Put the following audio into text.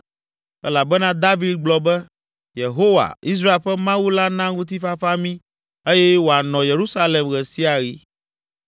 elabena David gblɔ be, “Yehowa, Israel ƒe Mawu la na ŋutifafa mí eye wòanɔ Yerusalem ɣe sia ɣi.